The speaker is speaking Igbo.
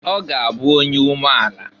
Ọ ga-abụ onye umeala.